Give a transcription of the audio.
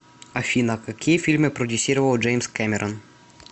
афина какие фильмы продюсировал джеимс кэмерон